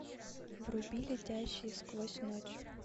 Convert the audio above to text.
вруби летающие сквозь ночь